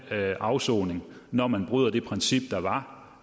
afsoning når man bryder det princip der